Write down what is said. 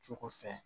Cogo fɛ